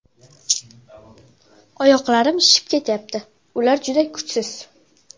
Oyoqlarim shishib ketyapti, ular juda kuchsiz.